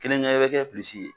Kelen kɛ i bɛ kɛ ye.